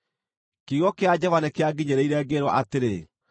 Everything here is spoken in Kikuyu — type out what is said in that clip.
Kiugo kĩa Jehova nĩkĩanginyĩrĩire, ngĩĩrwo atĩrĩ: